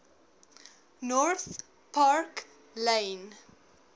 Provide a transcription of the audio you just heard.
north park lane